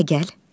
Hələ gəl.